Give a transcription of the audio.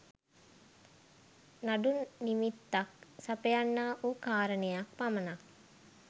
නඩු නිමිත්තක් සපයන්නාවූ කාරණයක් පමණක්